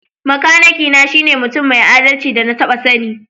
Makanaki na shine mutum mai adalci da na taba sanni.